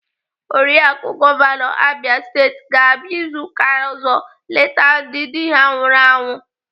Oriaku gọvanọ Abia Steeti ga-abịa izu ụka ọzọ eleta ndị dị ha nwụrụ anwụ.